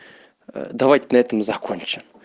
давайте на этом закончим